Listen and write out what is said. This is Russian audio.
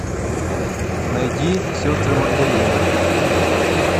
найди сестры магдалины